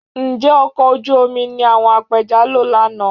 Ǹjẹ́ ọkọ̀ ojú omi ni àwọn apẹja lò lánàá?